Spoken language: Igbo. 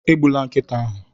Egbula nkịta ahụ!